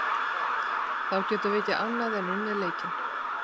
Þá getum við ekki annað en unnið leikinn.